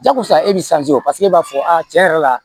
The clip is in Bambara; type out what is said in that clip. Jakosa e bɛ o e b'a fɔ tiɲɛ yɛrɛ la